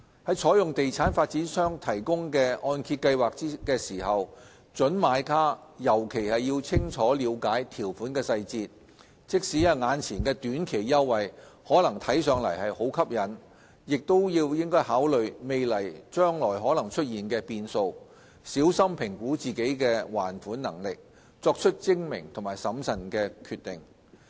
在採用地產發展商提供的按揭計劃時，準買家尤其應清楚了解條款細節，即使眼前的短期優惠可能看上去很吸引，亦應該考慮未來可能出現的變數，小心評估自身的還款能力，作出精明和審慎的決定。